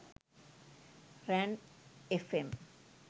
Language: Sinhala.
ran fm